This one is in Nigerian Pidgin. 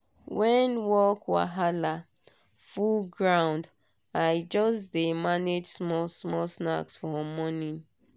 when work wahala full ground i just dey manage small small snack for morning.